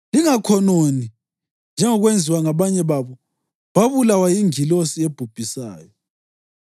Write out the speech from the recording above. Lingakhononi, njengokwenziwa ngabanye babo, babulawa yingilosi ebhubhisayo.